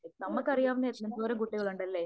നമുക്കറിയാവുന്ന എന്തോരം കുട്ടികളുണ്ടല്ലേ?